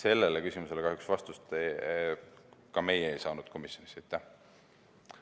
Sellele küsimusele kahjuks ka meie komisjonis vastust ei saanud.